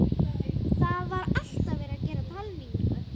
Það var alltaf verið að gera talningu.